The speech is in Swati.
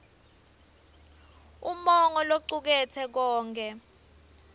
umongo locuketse konkhe